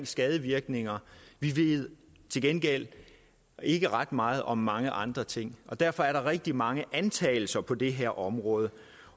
skadevirkningerne vi ved til gengæld ikke ret meget om mange andre ting derfor er der rigtig mange antagelser på det her område